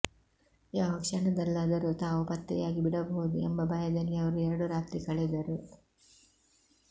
ಯಾವ ಕ್ಷಣದಲ್ಲಾದರೂ ತಾವು ಪತ್ತೆಯಾಗಿ ಬಿಡಬಹುದು ಎಂಬ ಭಯದಲ್ಲಿ ಅವರು ಎರಡು ರಾತ್ರಿ ಕಳೆದರು